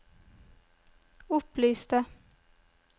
opplyste